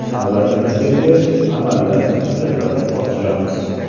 Navbatimiz kelgach, amallab hujjatlarni topshiramiz.